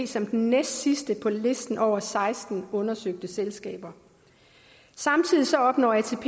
som den næstsidste på listen over seksten undersøgte selskaber samtidig opnår atp